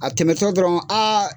A tɛmɛtɔ dɔrɔn .